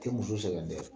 Tɛ muso sɛgɛn dɛ